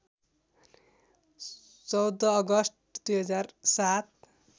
१४ August २००७